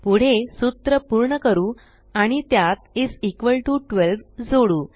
पुढे सूत्र पूर्ण करू आणि त्यात 12 इस इक्वॉल टीओ 12 जोडू